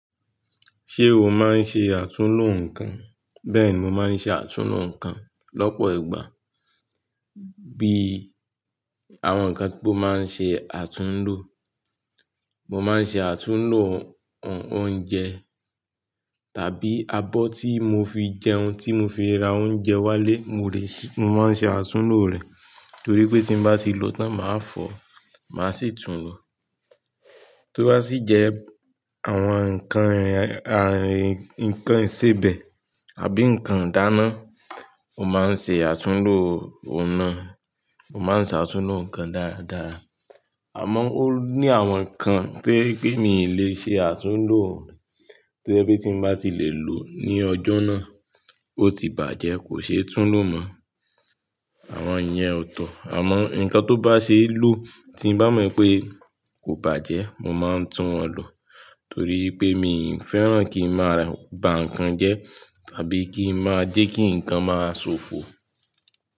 Ṣé o máa ń ṣe àtúnlo nǹkan? Bẹ́ẹ̀ni, mo máa ń ṣe àtúnlo nǹkan lọ́pọ̀ ìgbà. Bí àwọn nǹkan tí o máa ń ṣe àtúnlo, mo máa ń ṣe àtúnlo oúnjẹ tàbí abọ́ tí mo fi jẹun, tí mo fi ra oúnjẹ wálé, mo rẹ̀, mo máa ń ṣe àtúnlo rẹ̀ torí pé tí bá ti lòó tán, màá fọ̀, màá sì tún lò. Tí ó bá sì jẹ́ àwọn nǹkan ìrìn, nǹkan ìsebẹ̀ àbí nǹkan ìdáná, mo máa ń ṣe àtúnlo òun náà. Mo máa ń ṣe àtúnlo nǹkan dáradára. Àmọ́ ó ní àwọn nǹkan tí pé mi ì lè ṣe àtúnlo tí ó jẹ́ pé tí bá ti lè lòó ní ọjọ́ náà, ó ti bàjẹ́ kò ṣe tún lò mọ́. Àwọn yẹn ò tọ́. Àmọ́ nǹkan tó bá ṣe é lò tí bá mọ̀ pé kò bàjẹ́, mo máa ń tún wọn lò torí pé mi ò fẹ́ràn kí n máa bà nǹkan jẹ tàbí kí n máa jẹ́ kí nǹkan máa ṣòfò.